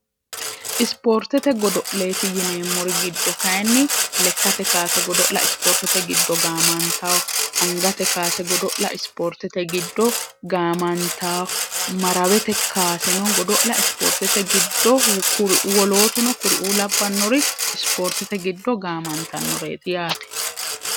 isipoortete godo'leeti yineemmori giddo kayinni lekkate kaase godo'la ispoortete giddo gaamantayo angate kaase godo'la ispoortete giddo gaamantayo marawete kaaseno godo'la ispoortete giddo kuri uwolootuno kuri uulabbannori ispoortete giddo gaamantannoreeti yaate